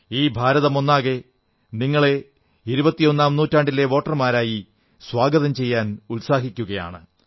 ഈ ഭാരതമൊന്നാകെ നിങ്ങളെ ഇരുപത്തിയൊന്നാം നൂറ്റാണ്ടിലെ വോട്ടർമാരായി സ്വാഗതം ചെയ്യുവാൻ ഉത്സാഹിക്കയാണ്